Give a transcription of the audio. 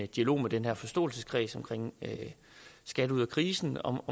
dialog med den her forståelseskreds omkring skat ud af krisen om